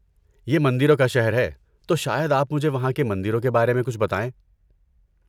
یہ مندروں کا شہر ہے تو شاید آپ مجھے وہاں کے مندروں کے بارے میں کچھ بتائیں؟